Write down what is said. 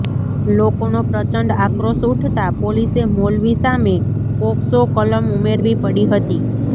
લોકોનો પ્રચંડ આક્રોશ ઉઠતા પોલીસે મૌલવી સામે પોકસો કલમ ઉમેરવી પડી હતી